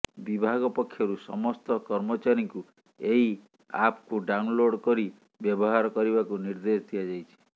ବିଭାଗ ପକ୍ଷରୁ ସମସ୍ତ କର୍ମଚାରୀଙ୍କୁ ଏହି ଆପ୍କୁ ଡାଉନ୍ଲୋଡ୍ କରି ବ୍ୟବହାର କରିବାକୁ ନିର୍ଦ୍ଦେଶ ଦିଆଯାଇଛି